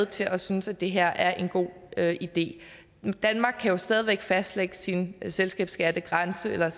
til at synes at det her er en god idé danmark kan jo stadig væk fastlægge sin selskabsskattegrænse eller